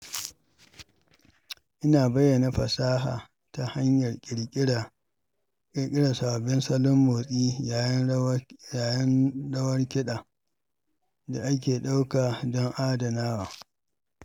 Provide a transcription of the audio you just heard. Ina bayyana fasahata ta hanyar ƙirƙirar sababbin salon motsi yayin rawar kiɗa da ake ɗauka don adanawa.